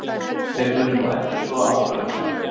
Þeir munu nú endurskoða ákvörðun sína